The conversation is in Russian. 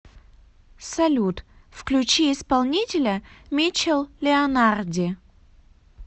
салют включи исполнителя мичел леонарди